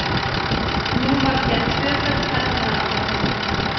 Nú var gerð tvöföld hernaðaráætlun.